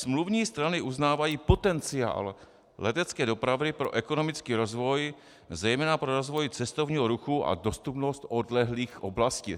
Smluvní strany uznávají potenciál letecké dopravy pro ekonomický rozvoj, zejména pro rozvoj cestovního ruchu a dostupnost odlehlých oblastí.